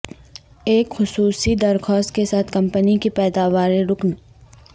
ایک خصوصی درخواست کے ساتھ کمپنی کی پیداوار رکن